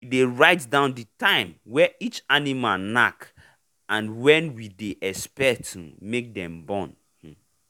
we dey write down the time way each animal knack and when we dey expect um make dem born. um